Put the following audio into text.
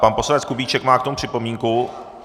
Pan poslanec Kubíček má k tomu připomínku?